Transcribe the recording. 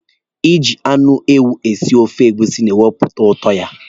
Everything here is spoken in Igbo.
Iji anụ ewu esi ofe egusi na-ewepụta ụtọ ya.